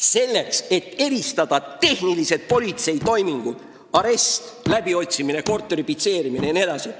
Selleks, et eristada tehnilisi politseitoiminguid: aresti, läbiotsimist, korteri pitseerimist jne.